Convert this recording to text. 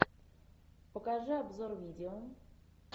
покажи обзор видео